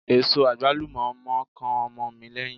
Èso àgbálù mọ̀ ń kan ọmọ mi léyín.